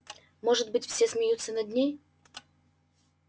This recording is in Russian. может быть все смеются над ней